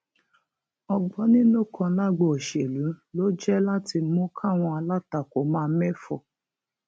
ọgbọninú kan lágbo òṣèlú ló jẹ láti mú káwọn alátakò máa méfò